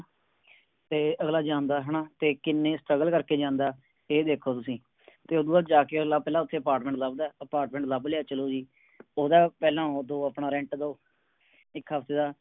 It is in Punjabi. ਤੇ ਅਗਲਾ ਜਾਦਾ ਹਣਾ ਤੇ ਕਿੰਨੇ Struggle ਕਰਕੇ ਜਾਂਦਾ ਇਹ ਦੇਖੋ ਤੁਸੀਂ ਤੇ ਉਦੋਂ ਬਾਦ ਜਾ ਕੇ ਉਹ ਪਹਿਲਾ ਓਥੇ Apartment ਲੱਭਦਾ Apartment ਲਭ ਲਿਆ ਚਲੋ ਜੀ ਓਦਾਂ ਪਹਿਲਾ ਓਦੋ ਆਪਣਾ Rent ਦੋ ਇਕ ਹਫਤੇ ਦਾ